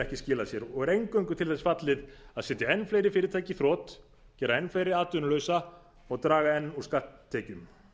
ekki skila sér og er eingöngu til þess fallið að setja enn fleiri fyrirtæki í þrot gera enn fleiri atvinnulausa og draga enn úr skatttekjum